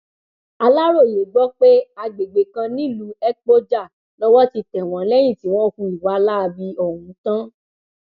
aláròye gbọ pé àgbègbè kan nílùú ekpojà lowó ti tẹ wọn lẹyìn tí wọn hu ìwà láabi ọhún tán